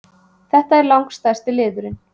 Það er langstærsti liðurinn